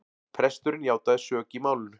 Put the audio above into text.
Presturinn játaði sök í málinu